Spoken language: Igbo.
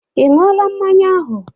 Ị ñyu ọla mmanya ahụ?